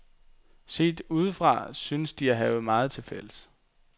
Set udefra synes de at have meget til fælles.